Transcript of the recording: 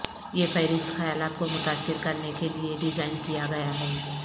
یہ فہرست خیالات کو متاثر کرنے کے لئے ڈیزائن کیا گیا ہے